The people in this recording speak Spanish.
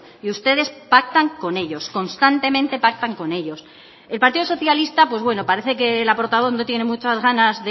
y ustedes pactan con ellos constantemente pactan con ellos el partido socialista pues bueno parece que la portavoz no tiene muchas ganas